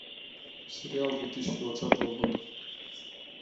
сериал две тысячи двадцатого года